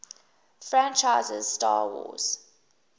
franchises 'star wars